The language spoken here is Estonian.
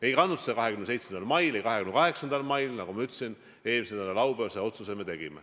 Ei kantud seda tagasi 27. mail, ei 28. mail, vaid, nagu ma ütlesin, tegime selle otsuse eelmise nädala laupäeval.